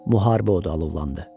Müharibə odu alovlandı.